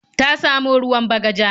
Ta samo ruwan Bagaja.